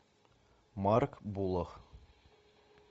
марк булах